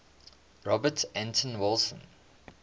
robert anton wilson